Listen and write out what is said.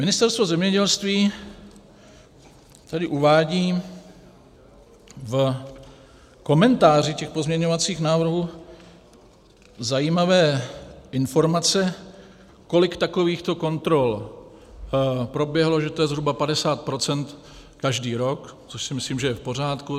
Ministerstvo zemědělství tady uvádí v komentáři těch pozměňovacích návrhů zajímavé informace, kolik takových kontrol proběhlo, že to je zhruba 50 % každý rok, což si myslím, že je v pořádku.